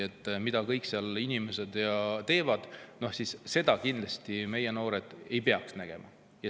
Seda, mida kõike seal inimesed teevad, ei peaks meie noored kindlasti nägema.